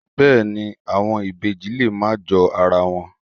Bẹ́ẹ̀ ni, àwọn ibèjì lè má jọ ara wọn.